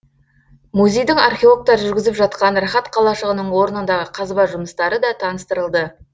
музейдің археологтары жүргізіп жатқан рахат қалашығының орнындағы қазба жұмыстары да таныстырылды